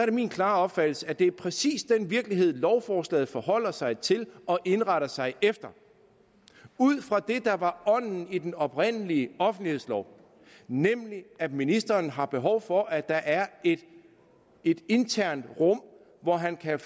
er min klare opfattelse at det præcis er den virkelighed lovforslaget forholder sig til og indretter sig efter ud fra det der var ånden i den oprindelige offentlighedslov nemlig at ministeren har behov for at der er et internt rum hvor han kan